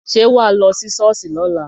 Ṣé wà á lọ sí ṣọ́ọ̀ṣì lọ́la?